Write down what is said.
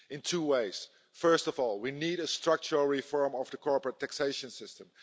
In two ways first of all we need a structural reform of the corporate taxation system.